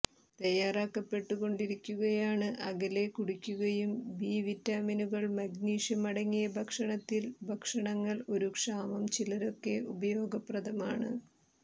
തയ്യാറാക്കപ്പെട്ടുകൊണ്ടിരിക്കുകയാണു് അകലെ കുടിക്കുകയും ബി വിറ്റാമിനുകൾ മഗ്നീഷ്യം അടങ്ങിയ ഭക്ഷണത്തിൽ ഭക്ഷണങ്ങൾ ഒരു ക്ഷാമം ചിലരൊക്കെ ഉപയോഗപ്രദമാണ്